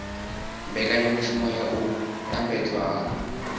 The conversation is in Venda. mbekanyamushumo ya u lambedzwa ha